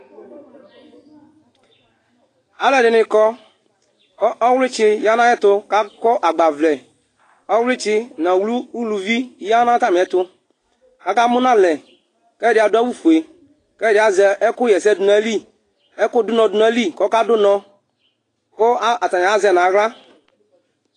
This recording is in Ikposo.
Aluɛdini kɔ ku ɔwlitsi yanu ayɛtu katani akɔ agbavlɛ ɔwlitsi nu ɔwli uluvi ya nu atamiɛtu kaka munalɛ kɛdi adu awu ofue kɛdi azɛ ɛku wa ɛsɛ du nu ayili ɛku du unɔ du nayili ku ɔkadu unɔ ka atani azɛ nu aɣla